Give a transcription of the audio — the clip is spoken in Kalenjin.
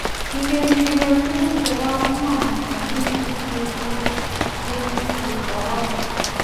Kigeni kenyor Tuguk chebo iman en wigit nesibu yekisir orodha.